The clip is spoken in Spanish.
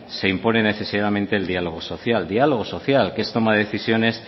se impone necesariamente el diálogo social diálogo social que es tomar decisiones